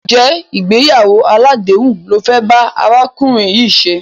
Ǹjẹ́ ìgbéyàwó aládèéhùn lo fẹ́ bá arákùnrin yìí ṣe?